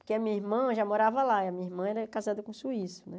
Porque a minha irmã já morava lá, e a minha irmã era casada com suíço, né?